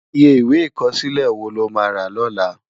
Iyé Iwé ikòsilé wó ló má rá lòlá?